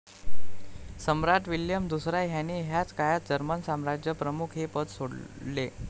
सम्राट William दुसरा ह्याने ह्याच काळात जर्मन साम्राज्यप्रमुख हे पद सोडले.